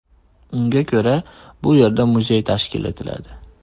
Unga ko‘ra, bu yerda muzey tashkil etiladi.